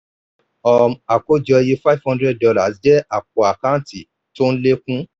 um àkójọ iye five hundred dollar jẹ́ àpò àkántì tí ó ń lékún.